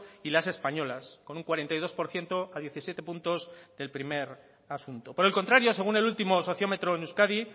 y las españolas con un cuarenta y dos por ciento a diecisiete puntos del primer asunto por el contrario según el último sociómetro en euskadi